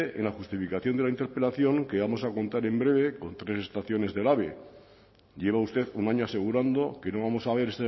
en la justificación de la interpelación que vamos a contar en breve con tres estaciones del ave lleva usted un año asegurando que no vamos a ver